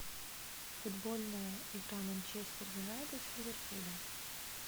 футбольная игра манчестер юнайтед с ливерпулем